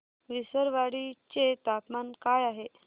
विसरवाडी चे तापमान काय आहे